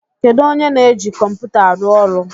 Kedụ onye na-eji kọmputa a arụ ọrụ?